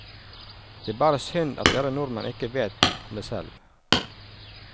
Det er bare synd at dere nordmenn ikke vet om det selv.